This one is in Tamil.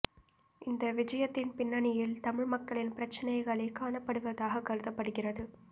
இந்த விஜயத்தின் பின்னணியில் தமிழ் மக்களின் பிரச்சினைகளே காணப்படுவதாக கருதப்படுகிறது